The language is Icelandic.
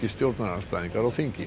stjórnarandstæðingar á þingi